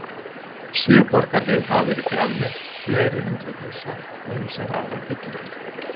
Sjö borgarhlið hafa verið grafin upp, fleiri hundruð húsa og ýmsar aðrar byggingar.